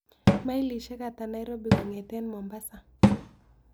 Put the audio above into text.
Mailishiek ata nairobi kon'geten mombasa